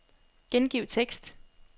Gengiv tekst.